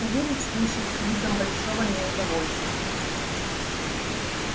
савельич слышал с видом большого неудовольствия